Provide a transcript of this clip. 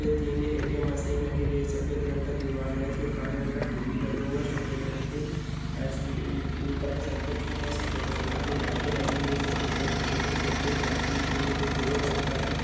ये तीन ATM machine रखे गए है सफ़ेद रंग का दीवार है जो काले रंग का टी_वी लगा हुआ है सफ़ेद रंग के टाइल्स बी-की-ऊपर के साइड पे छत्त है सफ़ेद रंग का दो लाइटे लगी हुई है सफ़ेद रंग के नीचे एक साइड पे टाइल्स बिछे हुए है जो भूरे रंग का है।